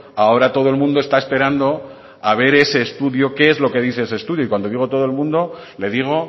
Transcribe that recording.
ahora todo el mundo está esperando a ver ese estudio qué es lo que dice ese estudio y cuando digo todo el mundo le digo